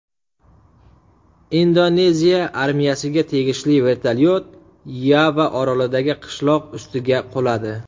Indoneziya armiyasiga tegishli vertolyot Yava orolidagi qishloq ustiga quladi.